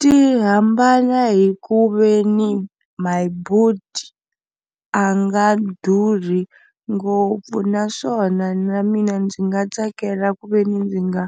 Ti hambana hi ku ve ni Myboet a nga durhi ngopfu naswona na mina ndzi nga tsakela ku ve ni ndzi nga